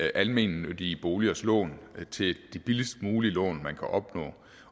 almennyttige boligers lån til de billigst mulige lån man kan opnå